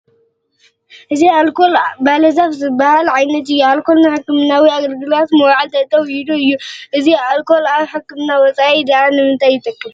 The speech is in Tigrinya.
እዚ ኣልኮል ባለ ዛፍ ዝበሃል ዓይነት እዩ፡፡ ኣልኮል ንሕክምናዊ ኣገልግሎት ምውዓል ጠጠው ኢሉ እዩ፡፡ እዚ ኣልካል ካብ ሕክምና ወፃኢ ድኣ ንምንታይ ይጠቅም?